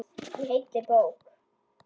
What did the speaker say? Í heilli bók.